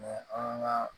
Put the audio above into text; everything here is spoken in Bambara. an ka